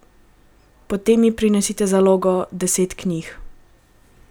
Potem mi prinese zalogo, deset knjig.